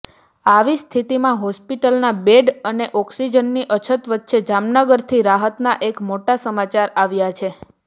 આવી સ્થિતિમાં હોસ્પિટલમાં બેડ અને ઑક્સીજનની અછત વચ્ચે જામનગરથી રાહતના એક મોટા સમાચાર આવ્યા છે